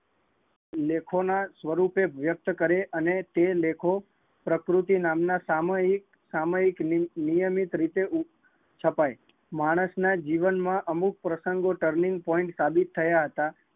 લેખો ના સ્વરૂપે વ્યકત કરે અને એ લેખો પ્રકૃતિ નામ ના સામયિક, સામયિક નિયમિત રીતે છપાય, માણસ ના જીવન માં અમુક પ્રસંગ turning point સાબિત થયા હતા